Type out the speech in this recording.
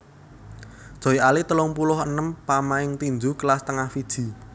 Joy Ali telung puluh enem pamain tinju kelas tengah Fiji